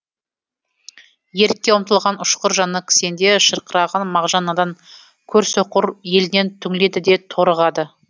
ерікке ұмтылған ұшқыр жаны кісенде шырқыраған мағжан надан көрсөқыр елінен түңіледі де торығады